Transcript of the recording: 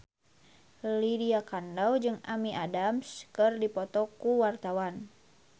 Lydia Kandou jeung Amy Adams keur dipoto ku wartawan